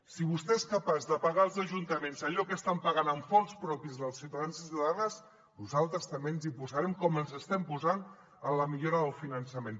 si vostè és capaç de pagar als ajuntaments allò que estan pagant amb fons propis dels ciutadans i ciutadanes nosaltres també ens hi posarem com ens hi estem posant en la millora del finançament